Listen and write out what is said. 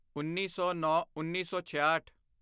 ਉੱਨੀ ਸੌਨੌਂਉੱਨੀ ਸੌ ਛਿਆਹਠ